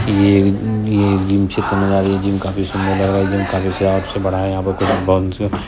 ये ये जिम क्षेत्र में यह जिम काफी सुंदर लग रहा है ये जिम काफी बड़ा है। यहां पर कोई बाउंस है।